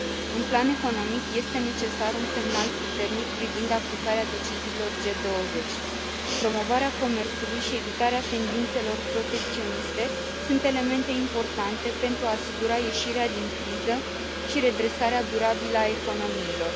În plan economic, este necesar un semnal puternic privind aplicarea deciziilor G20. Promovarea comerțului și evitarea tendințelor protecționiste sunt elemente importante pentru a asigura ieșirea din criză și redresarea durabilă a economiilor.